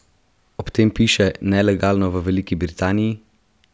Ob tem piše: "Nelegalno v Veliki Britaniji?